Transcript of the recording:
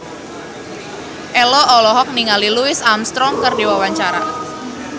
Ello olohok ningali Louis Armstrong keur diwawancara